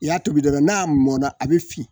I y'a tobi dɔrɔn n'a mɔna a bɛ fin